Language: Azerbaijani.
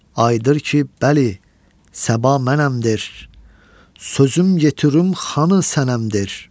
Ayıdır ki, bəli, səba mənəmdir, sözüm yetirum xanı sənəmdir.